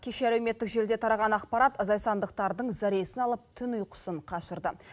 кеше әлеуметтік желіде тараған ақпарат зайсандықтардың зәресін алып түн ұйқысын қашырды